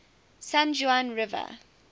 san juan river